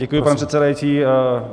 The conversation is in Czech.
Děkuji, pane předsedající.